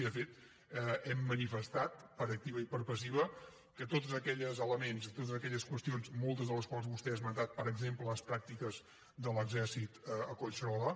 i de fet hem manifestat per activa i per passiva que tots aquells elements i totes aquelles qüestions moltes de les quals vostè ha esmentat per exemple les pràctiques de l’exèrcit a collserola